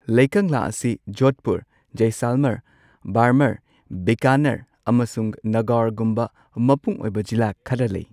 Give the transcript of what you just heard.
ꯂꯩꯀꯪꯂꯥ ꯑꯁꯤ ꯖꯣꯙꯄꯨꯔ, ꯖꯢꯁꯜꯃꯔ, ꯕꯥꯔꯃꯔ, ꯕꯤꯀꯥꯅꯔ, ꯑꯃꯁꯨꯡ ꯅꯥꯒꯥꯎꯔꯒꯨꯝꯕ ꯃꯄꯨꯡ ꯑꯣꯏꯕ ꯖꯤꯂꯥ ꯈꯔ ꯂꯩ꯫